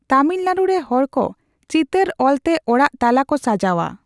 ᱛᱟᱢᱤᱞᱱᱟᱲᱩ ᱨᱮ ᱦᱚᱲᱠᱚ ᱪᱤᱛᱟᱹᱨ ᱚᱞ ᱛᱮ ᱚᱲᱟᱜ ᱛᱟᱞᱟ ᱠᱚ ᱥᱟᱡᱟᱣᱟ ᱾